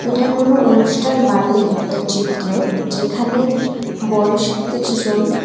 এটা কোনও অনুষ্ঠান বাড়ির একটা চিত্র যেখানে বয়স্ক কিছুজন --